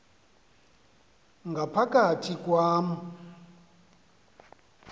ngapha kathi kwam